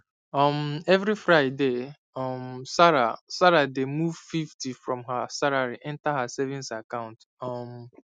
um every friday um sarah sarah dey move fifty from her salary enter her savings account um